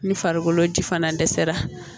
Ni farikolo ji fana dɛsɛra